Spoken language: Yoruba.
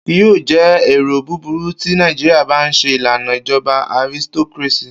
Kii yoo jẹ ero buburu ti Naijiria ba n ṣe ilana ijọba aristocracy.